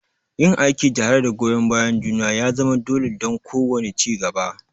Yin aiki tare da goyon bayan juna ya zama dole don kowane ci gaba.